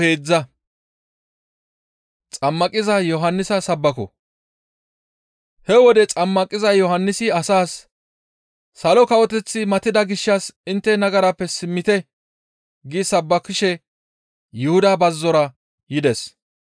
He wode xammaqiza Yohannisi asaas, «Salo kawoteththi matida gishshas intte nagarappe simmite» gi sabbakishe Yuhuda bazzora yides.